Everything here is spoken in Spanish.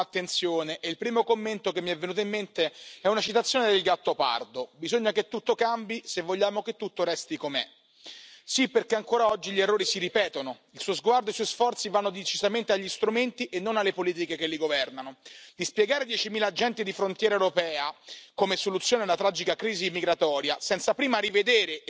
Lo comparto, pero me hubiera gustado que hubiese mayor resonancia de la en su discurso y menos de la de Beethoven, porque no se puede proponer nueva legislación cuando no se ha sido capaz de hacer cumplir el Derecho en vigor, ni de asegurar tampoco que la legislación ya puesta en marcha vea finalmente la luz del día. Porque el derrumbamiento, en el espacio de libertad, justicia y seguridad, de la confianza mutua es lo que explica el fracaso de la euroorden.